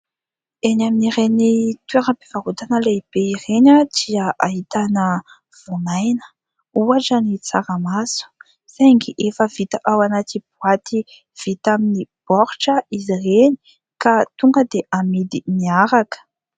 Eny amin'ireny toeram-pivarotana lehibe ireny dia ahitana voamaina. Ohatra: ny tsaramaso; saingy efa vita ao anaty boaty (vita amin'ny baoritra) izy ireny ka tonga dia amidy miaraka.